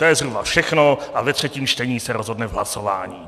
To je zhruba všechno a ve třetím čtení se rozhodne v hlasování.